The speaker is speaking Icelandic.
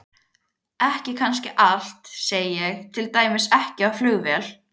Ekki kannski allt, segi ég, til dæmis ekki á flugvél.